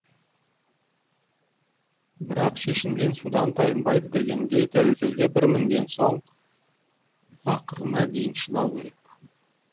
бірақ шешінген судан тайынбайды дегендей тәукелге бір мінген соң ақырына дейін шыдау керек